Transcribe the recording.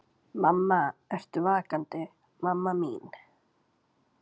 Mamma, ertu vakandi mamma mín?